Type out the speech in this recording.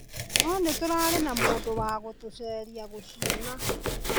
No nĩtũrarĩ na mũndũ wa gũtũceria gũciona